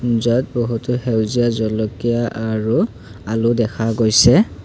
মুজাত বহুতো সেউজীয়া জলকীয়া আৰু আলু দেখা গৈছে।